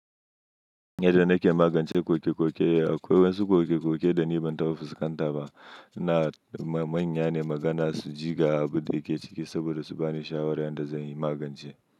Yadda na ke magance koke-koke, akwai wasu kokeke-koke da ni bantaɓa fuskan taba na manya ne magana su ji ga abun da ke ciki saboda su bani shawara yadda zan yi magance.